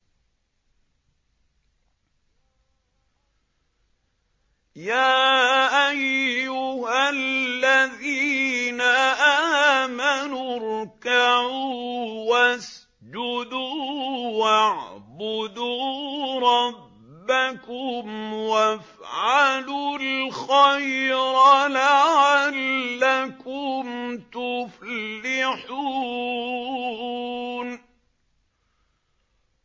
يَا أَيُّهَا الَّذِينَ آمَنُوا ارْكَعُوا وَاسْجُدُوا وَاعْبُدُوا رَبَّكُمْ وَافْعَلُوا الْخَيْرَ لَعَلَّكُمْ تُفْلِحُونَ ۩